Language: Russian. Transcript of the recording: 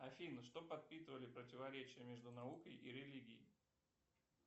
афина что подпитывали противоречия между наукой и религией